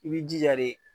I b'i jija de